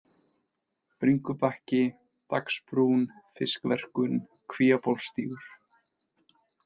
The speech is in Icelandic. Bringubakki, Dagsbrún, Fiskverkun, Kvíabólsstígur